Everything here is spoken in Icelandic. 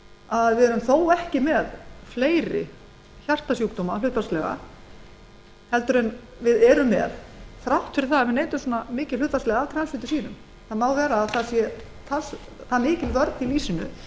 að hér er þó ekki hærra hlutfall hjartasjúkdóma en raun ber vitni þrátt fyrir að við neytum hlutfallslega svona mikils af transfitusýrum það má vera að mikil vörn sé í